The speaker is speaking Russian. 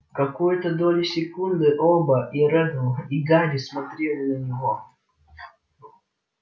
какую-то долю секунды оба и реддл и гарри смотрели на него